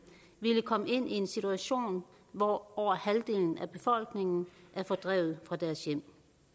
ville komme i en situation hvor over halvdelen af befolkningen er fordrevet fra deres hjem